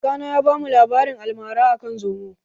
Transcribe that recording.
Kakana ya ba mu labarin almara akan zomo